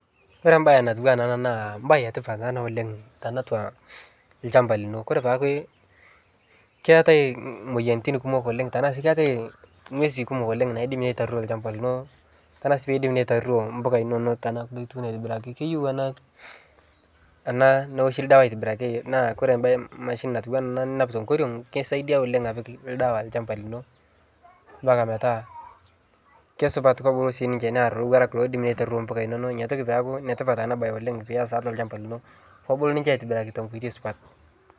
Ore embaye natiu ena naa embaye e tipat taa ena oleng' tenatua olchamba lino. Kore taake keetai imueyiaritin imueyiaritin kumok oleng' tenaa sii keetai ing'uesin kumok oleng' naidim aitaruei olchamba lino tenaa sii duo